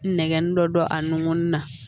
Nɛgɛnni dɔ don a nunkɔnɔni na